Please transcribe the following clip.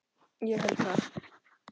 Ég held það